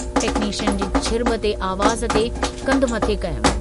Technician जी छिरब ते आवाज़ ते कंधु मथे कयुमि।